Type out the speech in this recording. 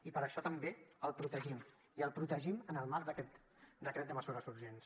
i per això també el protegim i el protegim en el marc d’aquest decret de mesures urgents